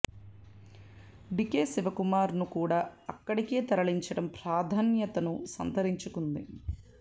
DK Shivakumar ను కూడా అక్కడికే తరలించడం ప్రాధాన్యతను సంతరించుకుంది